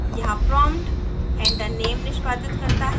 यहाँ prompt enter name निष्पादित करता है